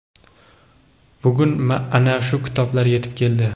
Bugun ana shu kitoblar yetib keldi.